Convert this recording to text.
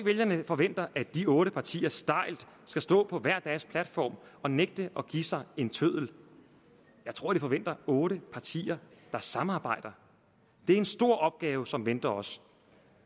vælgerne forventer at de otte partier stejlt skal stå på hver deres platform og nægte at give sig en tøddel jeg tror de forventer otte partier der samarbejder det er en stor opgave som venter os